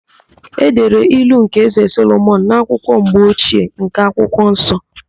E dere ilu nke Ézē Solomọn n'akwụkwọ mgbochie nke akwụkwọ nsọ.